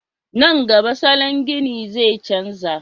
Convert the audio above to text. Nan gaba salon gini zai canja